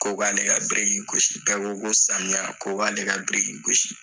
Ko k'ale ka biriki gosi , bɛɛ ko ko samiya , ko k'ale ka biriki gosi.